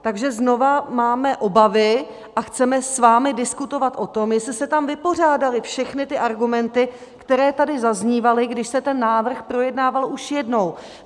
Takže znova máme obavy a chceme s vámi diskutovat o tom, jestli se tam vypořádaly všechny ty argumenty, které tady zaznívaly, když se ten návrh projednával už jednou.